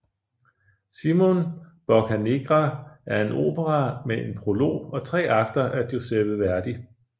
Simon Boccanegra er en opera med en prolog og tre akter af Giuseppe Verdi